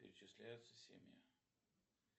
перечисляются семьи